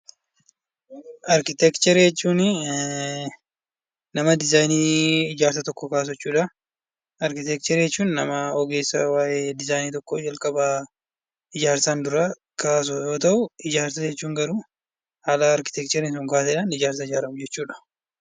Arkiteekcharii jechuun nama diizaayinii ijaarsa tokkoo baasu jechuudha. Arkiteekcharii jechuun nama diizaayinii waan tokkoo calqaba ijaarsaan dura kaasu yoo ta'u, ijaarsa jechuun garuu haala arkiteekchariin sun kaaseen ijaarsa ijaaramu jechuudha.